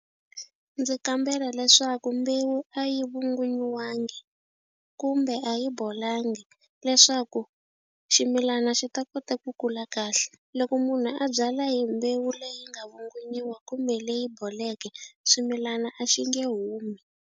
Ndzi kambela leswaku mbewu a yi vungunyiwanga kumbe a yi bolangi leswaku ximilana xi ta kota ku kula kahle. Loko munhu a byala hi mbewu leyi nga vungunyiwa kumbe leyi boleke swimilana a xi nge humi.